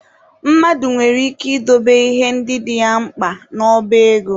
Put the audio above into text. Mmadụ nwere ike ị dobe ihe ndị dị ya mkpa n'ọba ego